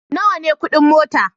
Nawa ne kudin mota?